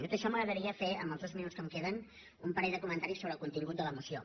tot i això m’agradaria fer en els dos minuts que em queden un parell de comentaris sobre el contingut de la moció